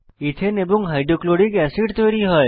ethane এবং hydrochloric acid তৈরী হয়